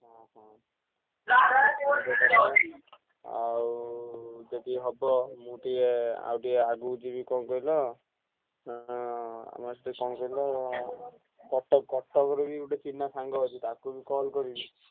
ହୁଁ ହୁଁ ସେଟା ବି ଗୋଟେ କଥା ଆଉ ଯଦି ହବ ମୁଁ ଟିକେ ଆଉ ଟିକେ ଆଗୁକୁ ଯିବି କଣ କହିଲ ଉଁ ଆମର ସେଠି କଣ କହିଲ କଟକ କଟକରୁ ବି ଗୋଟେ ଚିହ୍ନା ସାଙ୍ଗ ଅଛି ତାକୁ ବି call କରିବି।